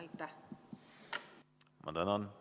Ma tänan!